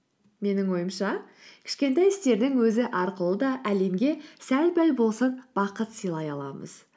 менің ойымша кішкентай істердің өзі арқылы да әлемге сәл пәл болсын бақыт сыйлай аламыз